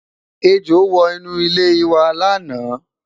ẹjọ wò inú ile iwa laana